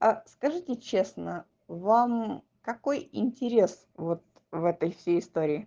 а скажите честно вам какой интерес вот в этой всей истории